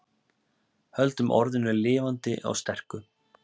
Höldum orðinu lifandi og sterku